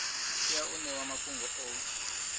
tea u ṋewa mafhungo o